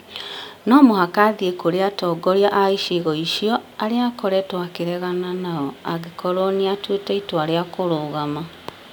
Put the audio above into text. No mũhaka athiĩ kũrĩ atongoria a icigo icio arĩa akoretwo akĩregana nao angĩkorũo nĩ atuĩte itua rĩa kũrũgama.